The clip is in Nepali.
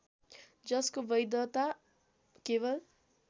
जसको वैधता केवल